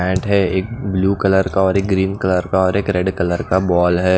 है। एक blue colour का और एक ग्रीन कलर का और एक रेड कलर का बोल है।